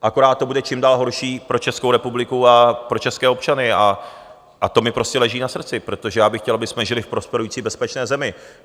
Akorát to bude čím dál horší pro Českou republiku a pro české občany a to mi prostě leží na srdci, protože já bych chtěl, abychom žili v prosperující bezpečné zemi.